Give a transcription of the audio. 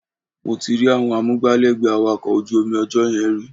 Mo ti rí àwọn amúgbálẹ́gbẹ̀ẹ́ awakọ̀ ojú omi ọjọ́ yẹn rí